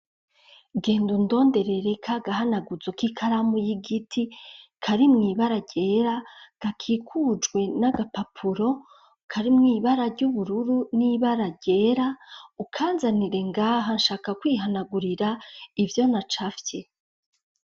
Genda undonderere ka gahanaguzo k'ikaramu y'igiti kari mw'ibara ryera gakikujwe n'agapapuro kari mw'ibara ry'ubururu n'ibara ryera ukanzanire ngaha shaka kwihanagurira ivyo na cafye.